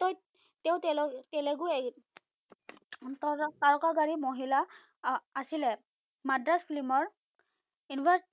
তত তেওঁ তেলেগু তাৰকাৰী মহিলা আ আছিলে। মাদ্ৰাচ ফিল্মৰ ইনভাচ